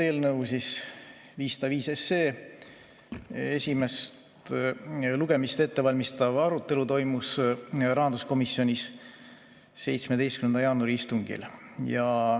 Eelnõu 505 esimest lugemist ettevalmistav arutelu toimus rahanduskomisjonis 17. jaanuari istungil.